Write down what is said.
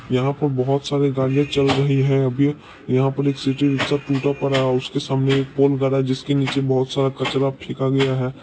यहा पर बहुत सारी गाड़ियां चल रही है अभी यहा पर एक सिटी रिक्शा टूटा पड़ा है उसके सामने एक पोल गड़ा है जिसके नीचे बहुत सारा कचरा फेका गया है।